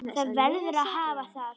Það verður að hafa það.